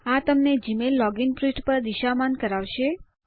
આ તમને Gmail login પૃષ્ઠ પર દિશામાન કરાવશે